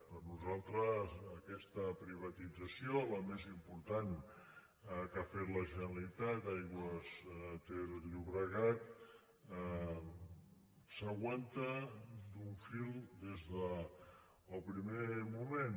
per nosaltres aquesta privatització la més important que ha fet la generalitat d’aigües ter llobregat s’aguanta d’un fil des del primer moment